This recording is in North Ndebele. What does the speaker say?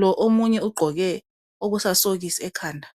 lo omunye ugqoke okusasokisi ekhanda